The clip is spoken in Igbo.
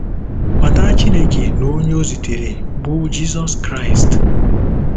Mata Chineke na onye o zitere, bụ́ Jizọs Kraịst.